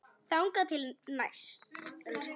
Þangað til næst, elskan mín.